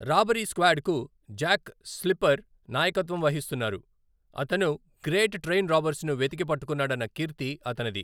Robbery స్క్వాడ్కు Jack Slipper నాయకత్వం వహిస్తున్నారు, అతను గ్రేట్ ట్రైన్ రాబర్స్ను వెతికి పట్టుకున్నాడన్న కీర్తి అతనిది.